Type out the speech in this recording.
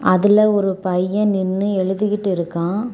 அதுல ஒரு பையன் நின்னு எழுதிட்டு இருக்கான்.